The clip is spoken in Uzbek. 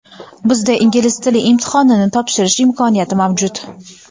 bizda ingliz tili imtihonini topshirish imkoniyati mavjud.